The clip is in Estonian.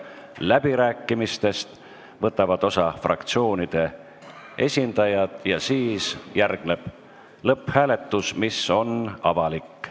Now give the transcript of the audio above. Läbirääkimistest võtavad osa fraktsioonide esindajad ja siis järgneb lõpphääletus, mis on avalik.